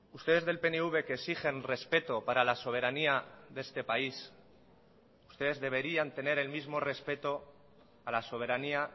ustedes del pnv que exigen respeto para la soberanía de este país ustedes deberían tener el mismo respeto a la soberanía